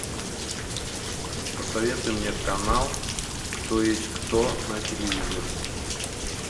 посоветуй мне канал кто есть кто на телевизоре